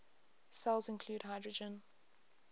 cells include hydrogen